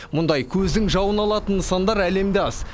мұндай көздің жауын алатын нысандар әлемде аз